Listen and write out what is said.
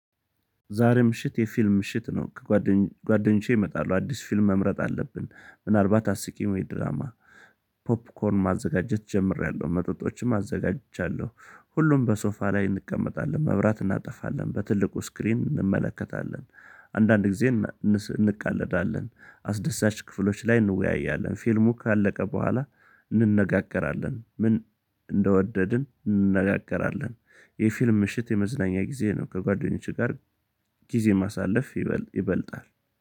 ዛሬ ምሽት የፊልም ምሽት ነው ከጓደኞቼ ይመጣሉ አዲስ ፊልም መምረጥ አለብን ምናልባት አስቂም ወይ ድራማ የድራማ ፖፕኮርን ማዘጋጀት ጀምሬያለሁ መጠጦችም አዘጋጃለሁ። ሁሉም በሶፋ ላይ እንቀመጣለን መብራት እናጠፋለን በትልቁ ስክሪን እንመለከታለን። አንዳንድ ጊዜ እንቃለዳለን አስደሳች ክፍሎች ላይ እንወያያለን። ፊልሙ ካለቀ በኋላ እንነጋገራለን። ምን እንደወደድን እንነጋገራለን። የፊልም ምሽት የመዝናኛ ጊዜ ነው። ከጓደኞቼ ጋር ጊዜ ማሳለፍ ይበልጣል።